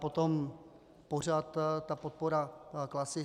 Potom pořad ta podpora Klasy.